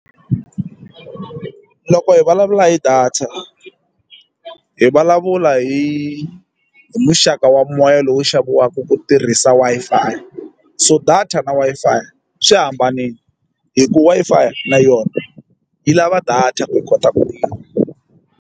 Loko hi vulavula hi data hi vulavula hi hi muxaka wa moya lowu xaviwaka ku tirhisa Wi-Fi so data na Wi-Fi swi hambanini hi ku Wi-Fi na yona yi lava data ku yi kota .